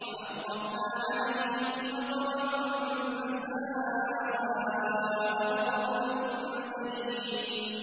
وَأَمْطَرْنَا عَلَيْهِم مَّطَرًا ۖ فَسَاءَ مَطَرُ الْمُنذَرِينَ